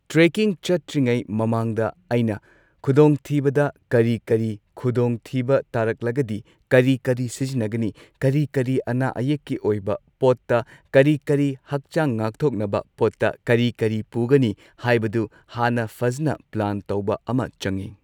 Trekking ꯆꯠꯇ꯭ꯔꯤꯉꯩ ꯃꯃꯥꯡꯗ ꯑꯩꯅ ꯈꯨꯗꯣꯡꯊꯤꯕꯗ ꯀꯔꯤ ꯀꯔꯤ ꯈꯨꯗꯣꯡꯊꯤꯕ ꯇꯥꯔꯛꯂꯒꯗꯤ ꯀꯔꯤ ꯀꯔꯤ ꯁꯤꯖꯤꯟꯅꯒꯅꯤ ꯀꯔꯤ ꯀꯔꯤ ꯑꯅꯥ ꯑꯌꯦꯛꯀꯤ ꯑꯣꯏꯕ ꯄꯣꯠꯇ ꯀꯔꯤ ꯀꯔꯤ ꯍꯛꯆꯥꯡ ꯉꯥꯛꯊꯣꯛꯅꯕ ꯄꯣꯠꯇ ꯀꯔꯤ ꯀꯔꯤ ꯄꯨꯒꯅꯤ ꯍꯥꯏꯕꯗꯨ ꯍꯥꯟꯅ ꯐꯖꯅ ꯄ꯭ꯂꯥꯟ ꯇꯧꯕ ꯑꯃ ꯆꯪꯏ꯫